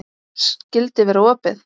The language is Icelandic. Skyldi vera opið?